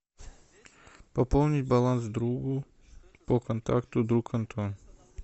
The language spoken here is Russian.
пополнить баланс другу по контакту друг антон